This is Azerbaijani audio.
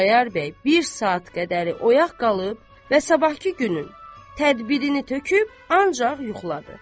Xudayar bəy bir saat qədəri oyaq qalıb və sabahkı günün tədbirini töküb ancaq yuxuladı.